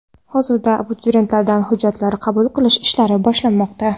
Hozirda abituriyentlardan hujjatlar qabul qilish ishlari boshlanmoqda.